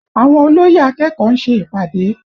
Àwọn olóyè akẹ́kọ̀ọ́ ń ṣe ìpàdé